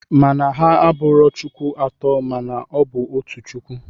Mana ha abụro chukwu atọ mana ọ bụ otu chukwu.